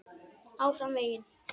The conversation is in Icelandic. ÁFRAM VEGINN.